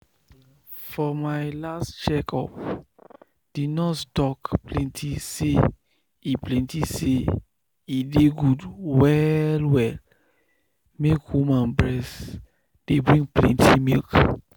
for my last check up the nurse talk plenty say e plenty say e dey good well well make women breast dey bring plenty milk.